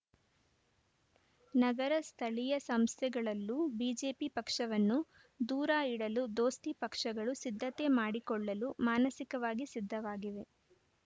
ನಗರ ಸ್ಥಳೀಯ ಸಂಸ್ಥೆಗಳಲ್ಲೂ ಬಿಜೆಪಿ ಪಕ್ಷವನ್ನು ದೂರ ಇಡಲು ದೋಸ್ತಿ ಪಕ್ಷಗಳು ಸಿದ್ಧತೆ ಮಾಡಿಕೊಳ್ಳಲು ಮಾನಸಿಕವಾಗಿ ಸಿದ್ಧವಾಗಿವೆ